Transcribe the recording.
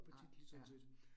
Nej, ja